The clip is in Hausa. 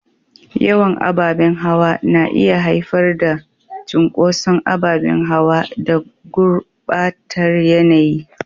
Yawan ababen hawa na iya haifar da cunkoson ababen hawa da gurbatar yanayi.